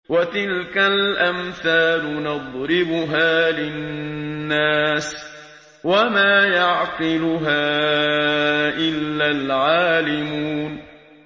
وَتِلْكَ الْأَمْثَالُ نَضْرِبُهَا لِلنَّاسِ ۖ وَمَا يَعْقِلُهَا إِلَّا الْعَالِمُونَ